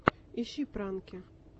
ищи пранки